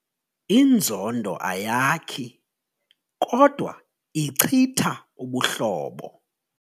Inzondo ayakhi kodwa ichitha ubuhlobo.